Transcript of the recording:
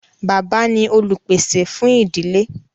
Bàbá ni olùpèsè fún ìdílé.